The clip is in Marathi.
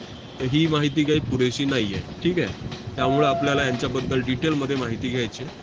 तर ही माहिती काय पुरेशी नाही आहे. ठीक आहे? त्यामुळं आपल्याला यांच्याबद्दल detail मध्ये माहिती घ्यायची आहे.